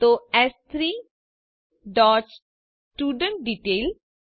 તો એસ3 dot student detail